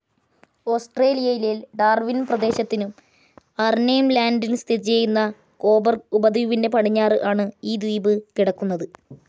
ഓസ്ട്രേലിയയിലെ ഡാർവിൻ പ്രദേശത്തിനും അർനേം ലാൻഡിൽ സ്ഥിതിചെയ്യുന്ന കൊബർഗ് ഉപദ്വീപിൻ്റെ പടിഞ്ഞാറ് ആണ് ഈ ദ്വീപ് കിടക്കുന്നത്.